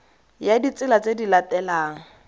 ya ditsela tse di latelang